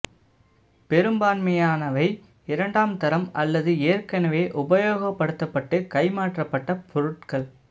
பெரும்பான்மையானவை இரண்டாம் தரம் அல்லது ஏற்கனவே உபயோகப்படுத்தப்பட்டு கை மாற்றப்பட்ட பொருட்கள்